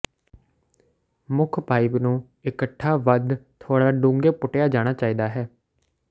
ਮੁੱਖ ਪਾਈਪ ਨੂੰ ਇਕੱਠਾ ਵੱਧ ਥੋੜ੍ਹਾ ਡੂੰਘੇ ਪੁੱਟਿਆ ਜਾਣਾ ਚਾਹੀਦਾ ਹੈ